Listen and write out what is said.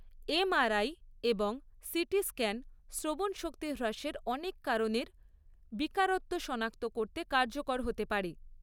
MRI এবং CT scan শ্রবণশক্তি হ্রাসের অনেক কারণের বিকারত্ব সনাক্ত করতে কার্যকর হতে পারে।